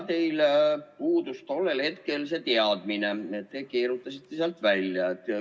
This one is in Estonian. Teil tollel hetkel see teadmine puudus, te kuidagi keerutasite end välja.